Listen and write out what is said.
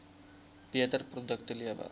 beter produkte lewer